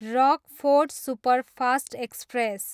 Rockfort superfast express